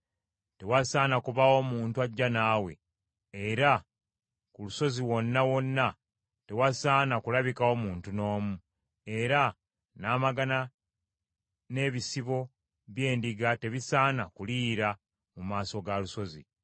Tewasaana kubaawo muntu ajja naawe, era ku lusozi wonna wonna tewasaana kulabikawo muntu n’omu; era n’amagana n’ebisibo by’endiga tebisaana kuliira mu maaso ga lusozi.”